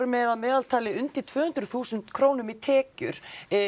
með að meðaltali undir tvö hundruð þúsund krónum í tekjur